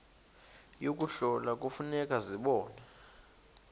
yokuhlola kufuneka zibonwe